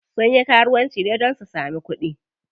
Sun yi karuwanci ne don su samu kuɗi.